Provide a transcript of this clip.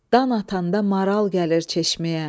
Dan atanda maral gəlir çeşməyə.